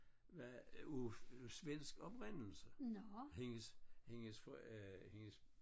Var af svensk oprindelse hendes hendes for øh hendes